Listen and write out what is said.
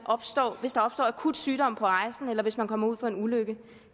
opstår akut sygdom på rejsen eller hvis man kommer ud for en ulykke